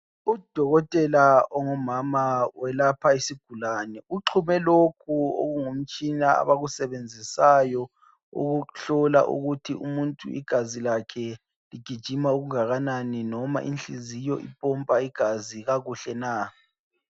Udokotela ongumama ulapha isigulane, uxhume lokhu okungumtshina abakusebenzisayo ukuhlola ukuthi umuntu igazi lakhe ligijima okungakanani loma inhliziyo ipompa igazi kakuhle na